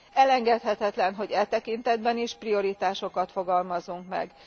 Elengedhetetlen, hogy e tekintetben is prioritásokat fogalmazzunk meg.